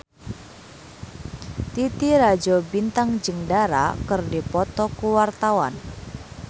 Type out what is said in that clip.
Titi Rajo Bintang jeung Dara keur dipoto ku wartawan